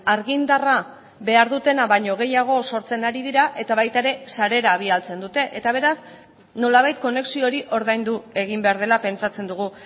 argindarra behar dutena baino gehiago sortzen ari dira eta baita ere sarera bidaltzen dute eta beraz nolabait konexio hori ordaindu egin behar dela pentsatzen dugu